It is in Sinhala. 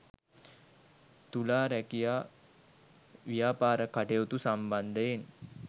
තුලා රැකියා ව්‍යාපාර කටයුතු සම්බන්ධයෙන්